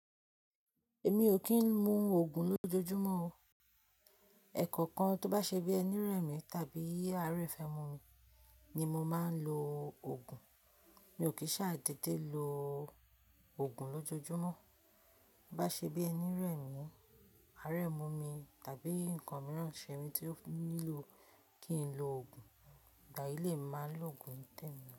Èmi ò kí ń mu òògùn lójoojúmọ́ o. Ẹ̀kọ̀kan tó bá ṣé bí ẹní rẹ̀ mìń tàbí àárẹ̀ fẹ́ mu mi ni mo máa ń lo òògùn. Mi ò kì í ṣáàdédé lo òògùn lójoojúmọ́. Bá ṣe bí ẹni rẹ̀ mìń, aarẹ̀ mu mi tàbí nǹkan mìíràn ṣẹ mi tí ó nílò kí n lo òògùn, ìgbà yí lè má lo òògùn ńtèmi o.